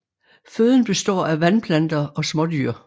Føden består af vandplanter og smådyr